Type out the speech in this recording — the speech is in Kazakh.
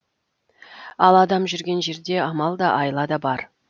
ал адам жүрген жерде амал да айла да бар